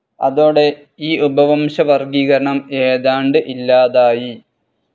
അതോടെ ഈ ഉപവംശ വർഗീകരണം ഏതാണ്ട് ഇല്ലാതായി.